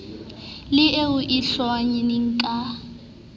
le eo e hlonngweng ke